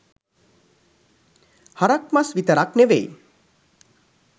හරක් මස් විතරක් නෙවෙයි